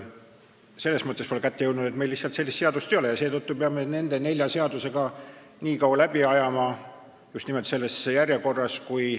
Selles mõttes ei ole kätte jõudnud, et meil lihtsalt sellist seadust ei ole ja seetõttu peame, kuni muud olukorda ei ole, nende nelja seadusega nii kaua läbi ajama ja just nimelt selles järjekorras.